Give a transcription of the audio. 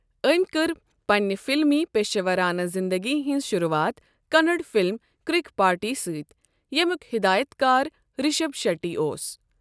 أمۍ کٔر پننہِ فلمی پیشورانہٕ زِندگی ہنز شروٗعات کننڑ فلم کِرک پارٹی سۭتۍ۔ یمُیک ہدایتكار رشب شیٹی اوس۔